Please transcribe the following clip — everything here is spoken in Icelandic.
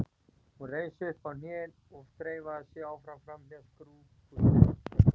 Hún reis upp á hnén og þreifaði sig áfram framhjá skrifpúltinu.